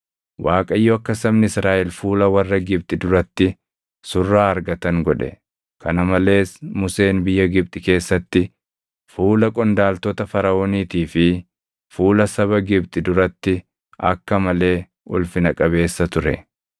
Waaqayyo akka sabni Israaʼel fuula warra Gibxi duratti surraa argatan godhe; kana malees Museen biyya Gibxi keessatti, fuula qondaaltota Faraʼooniitii fi fuula saba Gibxi duratti akka malee ulfina qabeessa ture.